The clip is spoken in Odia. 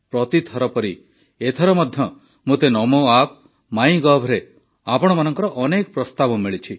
ପ୍ରତିଥର ପରି ଏଥର ମଧ୍ୟ ମୋତେ ନମୋ ଆପ୍ ମାଇ ଗଭ୍ରେ ଆପଣମାନଙ୍କର ଅନେକ ପ୍ରସ୍ତାବ ମିଳିଛି